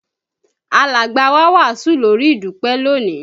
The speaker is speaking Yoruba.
Alàgbà wá wàásù lórí ìdúpé lónìí